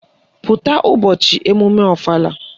Pụta ụbọchị emume ọfala!